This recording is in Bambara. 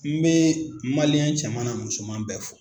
N bɛ Maliɲɛn cɛman n'a musoman bɛɛ fo!